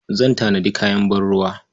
Zan tanadi kayan ban-ruwa.